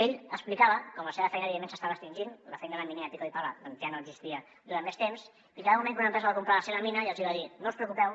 ell explicava com la seva feina evidentment s’estava extingint la feina de miner de pico y pala ja no existiria durant més temps i que va arribar un moment que una empresa va comprar la seva mina i els hi va dir no us preocupeu